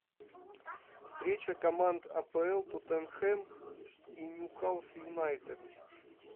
встреча команд апл тоттенхэм и ньюкасл юнайтед